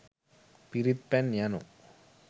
පිරිත් පැන් යනු